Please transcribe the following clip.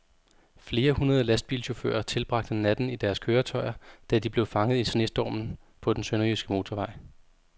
Flere hundrede lastbilchauffører tilbragte natten i deres køretøjer, da de blev fanget i snestormen på den sønderjyske motorvej.